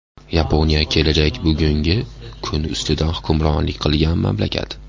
Yaponiya kelajak bugungi kun ustidan hukmronlik qilgan mamlakat.